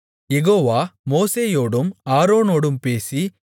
யெகோவா மோசேயோடும் ஆரோனோடும் பேசி